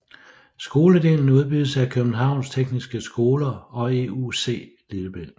Skoledelen udbydes af Københavns Tekniske Skole og EUC Lillebælt